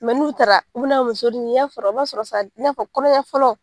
Mɛ n'u taara u bi na muso de ye i y'a sɔrɔ a b'a sɔrɔ sa i n'a fɔ kɔnɔ ŋa fɔlɔ